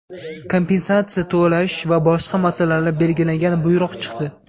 kompensatsiya to‘lsh va boshqa masalalari belgilangan buyrug‘i chiqdi.